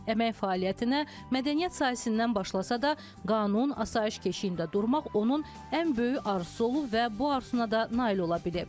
Əmək fəaliyyətinə mədəniyyət sahəsindən başlasa da, qanun asayiş keşiyində durmaq onun ən böyük arzusu olub və bu arzusuna da nail ola bilib.